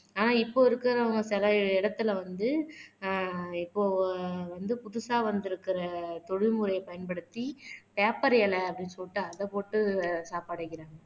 ஆனா இப்ப இருக்கறவங்க சில இடத்துல வந்து ஆஹ் இப்போ வந்து புதுசா வந்திருக்கிற தொழில்முறையை பயன்படுத்தி பேப்பர் இலை அப்படின்னு சொல்லிட்டு அத போட்டு சாப்பாடு வைக்கிறாங்க.